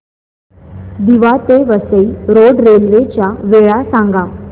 दिवा ते Vasai road railway च्या वेळा सांगा